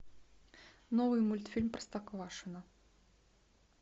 новый мультфильм простоквашино